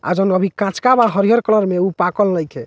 आ जॉन अभी कचका बा हरिहर कलर में उ पाकल नइखे ।